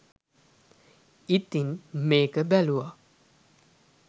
ඉතින් මේක බැලුව